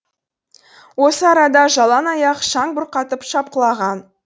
осы арада жалаң аяқ шаң бұрқатып шапқылаған